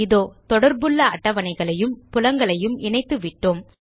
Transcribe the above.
இதோ தொடர்புள்ள அட்டவணைகளையும் புலங்களையும் இணைத்துவிட்டோம்